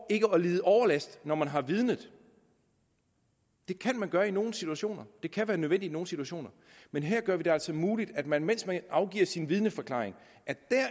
ikke at lide overlast når man har vidnet det kan man gøre i nogle situationer det kan være nødvendigt i nogle situationer men her gør vi det altså muligt at man mens man afgiver sin vidneforklaring